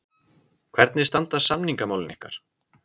Hvernig standa samningamálin ykkar?